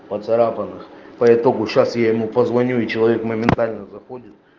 поцарапанных по итогу сейчас я ему позвоню и человек моментально заходит